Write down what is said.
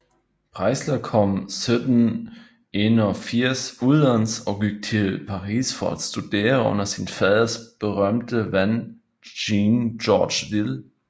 Preisler kom 1781 udenlands og gik til Paris for at studere under sin faders berømte ven Jean George Wille